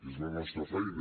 és la nostra feina